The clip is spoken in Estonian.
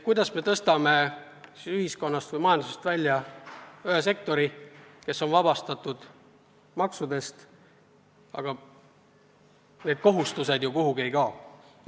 Kuidas me tõstame majandusest välja ühe sektori, kes on vabastatud maksudest, aga riigi kohustused ju kuhugi ei kao?